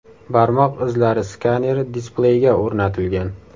Barmoq izlari skaneri displeyga o‘rnatilgan.